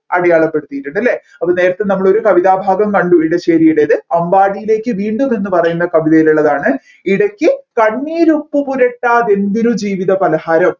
അടിയാളപ്പെടുത്തിയിട്ടുണ്ട് അല്ലെ അപ്പോ നേരെത്തെ നമ്മൾ ഒരു കവിതഭാഗം കണ്ടു ഇടശ്ശേരിയുടേത് അമ്പാടിയിലേക്ക് വീണ്ടും എന്ന് പറയുന്ന കവിതയിലുള്ളതാണ് ഇടയ്ക്ക് കണ്ണീർ ഉപ്പ് പുരട്ടാതെന്തൊരു ജീവിതപലഹാരം